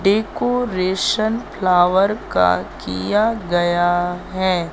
Decoration flower का किया गया है।